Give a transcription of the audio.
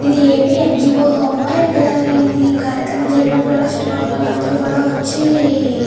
ఇది AP NGO హోమా . ఇక్కడ ఇది కార్యక్రమం జరిగినప్పుడు అలా చుట్టుపక్కల అందరూ కూడా వచ్చి --